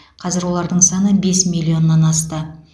қазір олардың саны бес миллионнан асты